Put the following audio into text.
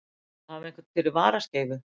Að hafa einhvern fyrir varaskeifu